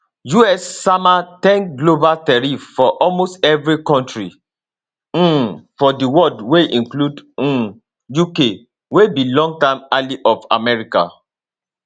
us sama ten global tariff for almost evri kontri um for di world wey include um uk wey be longtime ally of america